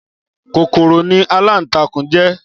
Kókóró ni àlántàkún jè